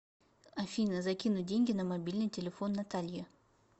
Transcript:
афина закинуть деньги на мобильный телефон наталье